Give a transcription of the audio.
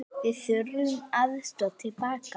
Við þurftum aðstoð til baka.